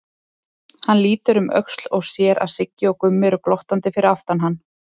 Hann lítur um öxl og sér að Siggi og Gummi eru glottandi fyrir aftan hann.